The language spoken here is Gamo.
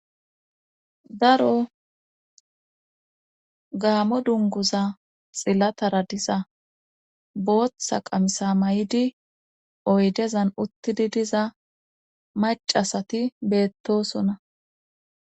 daro gaammo dunguza xillatara diza booththa qamisa may'idi oyddezan uttidii diza maca asati beettosona